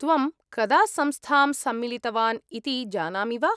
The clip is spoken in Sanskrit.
त्वं कदा संस्थां सम्मिलितवान् इति जानामि वा?